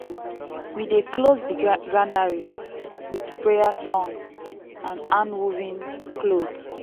we dey close di granary with prayer song and hand-woven cloth.